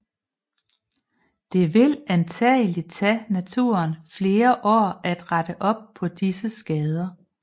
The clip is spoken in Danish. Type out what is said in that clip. Det vil antagelig tage naturen flere år at rette op på disse skader